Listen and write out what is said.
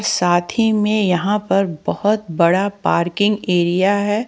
साथी में यहां पर बहुत बड़ा पार्किंग एरिया है।